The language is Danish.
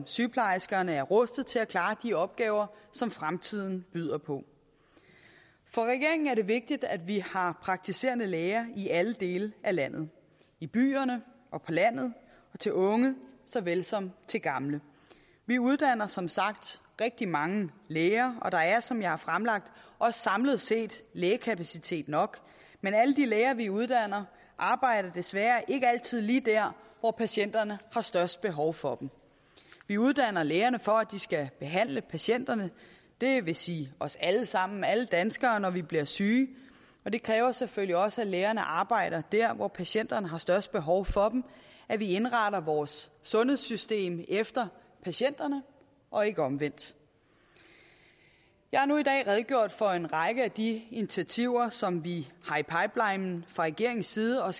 sygeplejerskerne er rustede til at klare de opgaver som fremtiden byder på for regeringen er det vigtigt at vi har praktiserende læger i alle dele af landet i byerne og på landet og til unge såvel som til gamle vi uddanner som sagt rigtig mange læger og der er som jeg har fremlagt også samlet set lægekapacitet nok men alle de læger vi uddanner arbejder desværre ikke altid lige der hvor patienterne har størst behov for dem vi uddanner lægerne for at de skal behandle patienterne det vil sige os alle sammen alle danskere når vi bliver syge og det kræver selvfølgelig også at lægerne arbejder der hvor patienterne har størst behov for dem og at vi indretter vores sundhedssystem efter patienterne og ikke omvendt jeg har nu i dag redegjort for en række af de initiativer som vi har i pipelinen fra regeringens side og